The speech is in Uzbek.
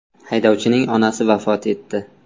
Haydovchining onasi vafot etdi.